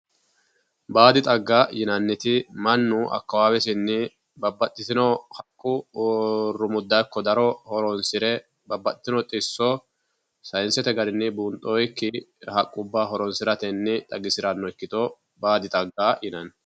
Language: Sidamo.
Baadi xagga yinnanniti mannu akawawesinni babbaxxitino haqqu rumudda ikko daro horonsire babbaxxitino xisso sayinsete garinni buunxonnikki garinni horonsirano xagga baadi xagga yinnanni.